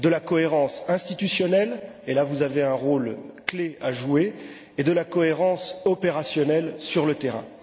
De la cohérence institutionnelle et là, vous avez un rôle clé à jouer et de la cohérence opérationnelle sur le terrain.